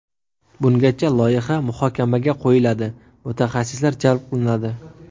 Bungacha loyiha muhokamaga qo‘yiladi, mutaxassislar jalb qilinadi.